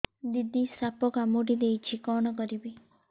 ଦିଦି ସାପ କାମୁଡି ଦେଇଛି କଣ କରିବି